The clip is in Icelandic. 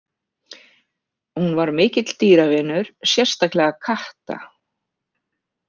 Hún var mikill dýravinur, sérstaklega katta.